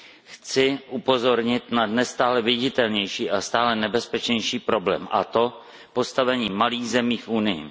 Chci upozornit na dnes stále viditelnější a stále nebezpečnější problém, a to postavení malých zemí v Unii.